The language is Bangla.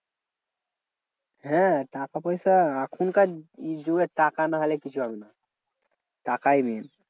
হ্যাঁ টাকা পয়সা এখনকার যুগে টাকা না নাহলে কিছু হবে না, টাকাই main.